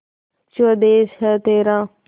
स्वदेस है तेरा